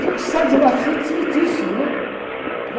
Fico, saio de lá,, né?